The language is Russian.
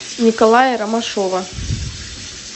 николая ромашова